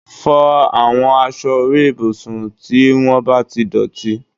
Fọ àwọn aṣọ orí ibùsùn tí wọ́n bá ti dọ̀tí